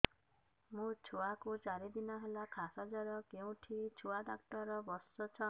ମୋ ଛୁଆ କୁ ଚାରି ଦିନ ହେଲା ଖାସ ଜର କେଉଁଠି ଛୁଆ ଡାକ୍ତର ଵସ୍ଛନ୍